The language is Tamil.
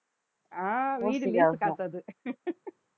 ஆஹ் வீடு வித்த காசு அது